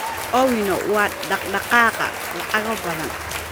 Owino waa dhaq-dhaqaaqa lacago badan